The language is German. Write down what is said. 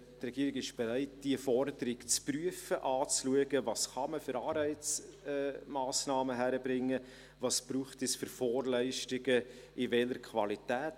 Die Regierung ist bereit, diese Forderung zu prüfen, sich anzuschauen, welche Anreizmassnahmen man hinbekommen könnte, welche Vorleistungen es brauchen würde und in welcher Qualität;